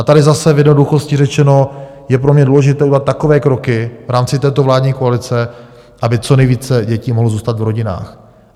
A tady zase v jednoduchosti řečeno je pro mě důležité udělat takové kroky v rámci této vládní koalice, aby co nejvíce dětí mohlo zůstat v rodinách.